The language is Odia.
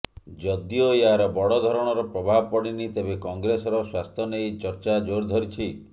ଯଦିଓ ଏହାର ବଡ଼ଧରଣର ପ୍ରଭାବ ପଡ଼ିନି ତେବେ କଂଗ୍ରେସର ସ୍ବାସ୍ଥ୍ୟ ନେଇ ଚର୍ଚ୍ଚା ଜୋର୍ ଧରିଛି